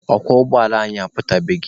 Ọkwọ ụgbọala anyị aputabeghị.